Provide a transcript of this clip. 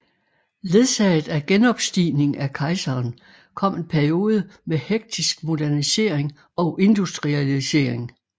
Ledsaget af genopstigning af kejseren kom en periode med hektisk modernisering og industrialisering